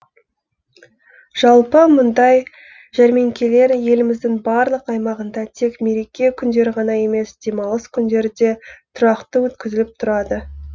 жалпы мұндай жәрмеңкелер еліміздің барлық аймағында тек мереке күндері ғана емес демалыс күндері де тұрақты өткізіліп тұрады